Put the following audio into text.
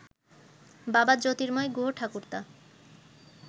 বাবা জ্যোর্তিময় গুহঠাকুরতা